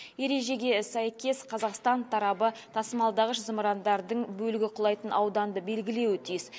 ережеге сәйкес қазақстан тарабы тасымалдағыш зымырандардың бөлігі құлайтын ауданды белгілеуі тиіс